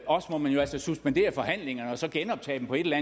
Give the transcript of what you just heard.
også må man jo altså suspendere forhandlingerne og så genoptage dem på et eller